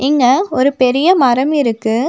இங்க ஒரு பெரிய மரம் இருக்கு.